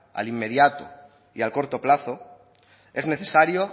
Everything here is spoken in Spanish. al inmediato y al corto plazo es necesario